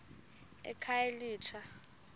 ekhayelitsha